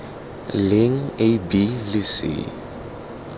leng a b le c